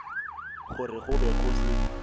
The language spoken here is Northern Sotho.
gore go be go se